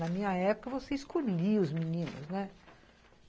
Na minha época você escolhia os meninos, né?